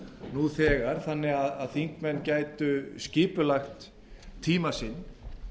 nú þegar þannig að þingmenn gætu skipulagt tíma sinn